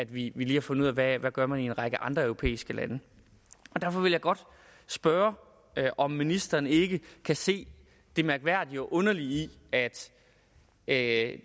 vi lige har fundet ud af hvad man gør i en række andre europæiske lande derfor vil jeg godt spørge om ministeren ikke kan se det mærkværdige og underlige i at at